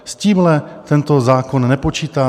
S tímhle tento zákon nepočítá.